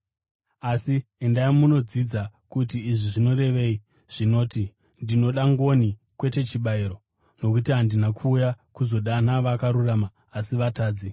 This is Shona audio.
Asi endai munodzidza kuti izvi zvinorevei zvinoti, ‘Ndinoda ngoni, kwete chibayiro.’ Nokuti handina kuuya kuzodana vakarurama, asi vatadzi.”